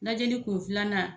Lajɛli kun filanan